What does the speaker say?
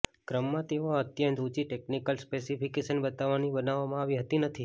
ક્રમમાં તેઓ અત્યંત ઊંચી ટેક્નિકલ સ્પેશિફિકેશન બતાવવાની બનાવવામાં આવી હતી નથી